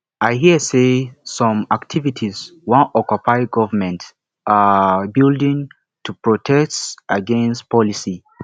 i hear sey some activists wan occupy government um building to protest against policy